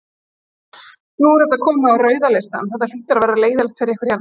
Nú er þetta komið á rauða listann, þetta hlýtur að vera leiðinlegt fyrir ykkur hérna?